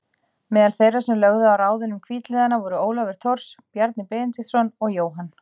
Meðal þeirra sem lögðu á ráðin um hvítliðana voru Ólafur Thors, Bjarni Benediktsson og Jóhann